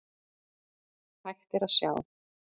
Hægt er að sjá